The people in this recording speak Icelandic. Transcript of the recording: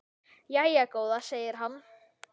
Jæja góða, segir hann.